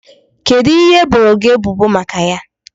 Kedụ ihe e boro gị ebubo maka ya?